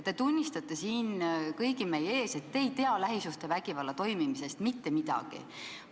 Te tunnistate siin kõigi meie ees, et te ei tea lähisuhtevägivalla toimumisest mitte midagi.